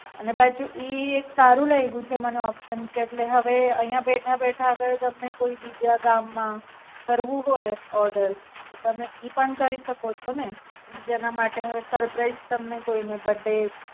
અને પાછું ઈ એક સારું લાયગું મને Option કે એટલે હવે અહીંયા બેઠા બેઠા હવે તમને કોઈ ગામ માં કરવું હોય Order ો તમે એ પણ કરી શકો છો ને બીજાના માટે હવે surprise તમને કોઈને બડે.